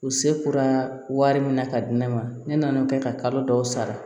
U se kurara wari min na ka di ne ma ne nan'o kɛ ka kalo dɔw sara